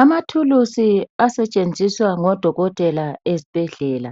Amathuluzi asetshenziswa ngodokotela ezibhedlela.